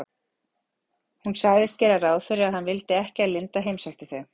Hún sagðist gera ráð fyrir að hann vildi ekki að linda heimsækti þau.